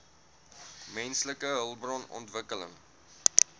menslike hulpbron ontwikkeling